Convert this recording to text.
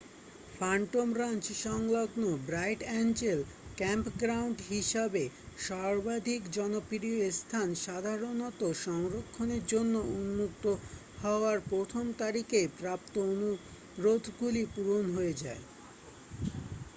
Phantom Ranch সংলগ্ন Bright Angel campground হিসাবে সর্বাধিক জনপ্রিয় স্থান সাধারণত সংরক্ষণের জন্য উন্মুক্ত হওয়ার প্রথম তারিখেই প্রাপ্ত অনুরোধগুলি পূরণ হয়ে যায়